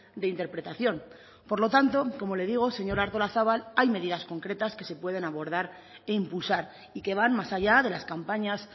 de interpretación por lo tanto como le digo señora artolazabal hay medidas concretas que se pueden abordar e impulsar y que van más allá de las campañas